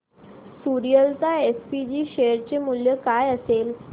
Suryalata SPG share चे मूल्य काय असेल